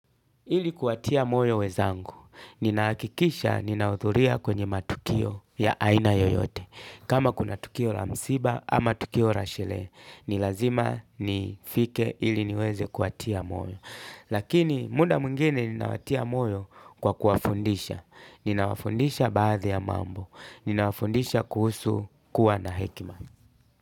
Ili kuwatia moyo wenzangu, ninahakikisha ninahudhuria kwenye matukio ya aina yoyote. Kama kuna tukio ra msiba ama tukio ra shele, ni lazima nifike ili niweze kuwatia moyo. Lakini muda mwengine ninawatia moyo kwa kuwafundisha. Ninawafundisha baadhi ya mambo. Ninawafundisha kuhusu kuwa na hekima.